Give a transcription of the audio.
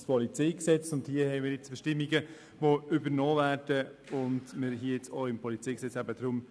Es handelt sich vorliegend um Bestimmungen, welche übernommen werden, weshalb wir nun über diese diskutieren.